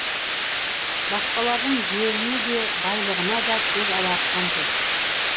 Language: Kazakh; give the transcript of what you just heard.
басқалардың жеріне де байлығына да көз алартқан жоқ